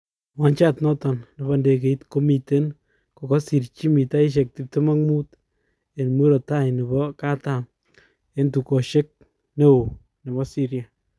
Wanjet naton nepo ndegeit komiten kokosirch mitaishek 25 en murot tai nepo katam en tukoshek neo nepo Syria